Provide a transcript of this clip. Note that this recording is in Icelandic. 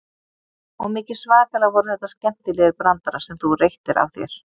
Og mikið svakalega voru þetta skemmtilegir brandarar sem þú reyttir af þér.